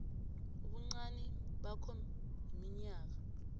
ubuncani bakhona iminyaka